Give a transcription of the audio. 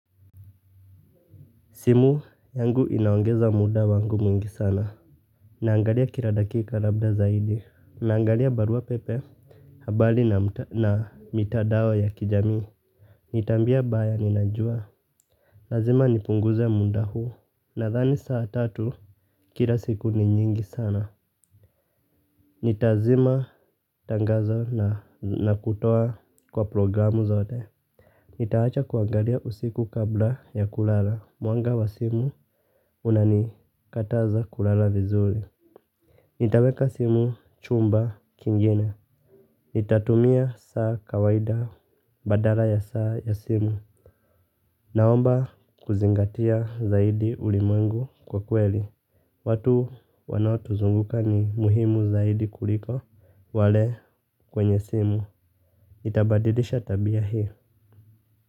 Simu yangu inaongeza muda wangu mwingi sana. Naangalia kila dakika labda zaidi. Naangalia barua pepe habali na mitadao ya kijami. Nitambia baya ninajua. Lazima nipunguze muda huu. Nadhani saa tatu kila siku ni nyingi sana. Nitazima tangazo na nakutoa kwa programu zote. Nitaacha kuangalia usiku kabla ya kulala. Mwanga wa simu unani kataza kulala vizuri. Nitaweka simu chumba kingine. Nitatumia saa kawaida badala ya saa ya simu. Naomba kuzingatia zaidi uliwengu kwa kweli. Watu wanaotuzunguka ni muhimu zaidi kuliko wale kwenye simu. Itabadilisha tabia hii.